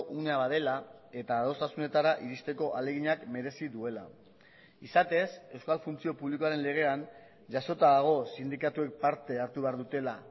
unea badela eta adostasunetara iristeko ahaleginak merezi duela izatez euskal funtzio publikoaren legean jasota dago sindikatuek parte hartu behar dutela